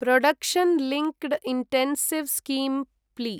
production linked incentive scheme plea